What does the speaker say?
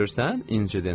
Görürsən, incidin.